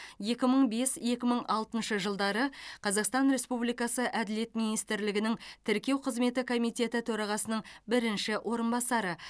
екі мың бес екі мың алтыншы жылдары қазақстан республикасы әділет министрлігінің тіркеу қызметі комитеті төрағасының бірінші орынбасары